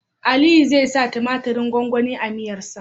Aliyu zai sa tumatirin gwangwani a miyar sa